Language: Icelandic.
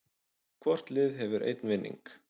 Hvort lið hefur einn vinning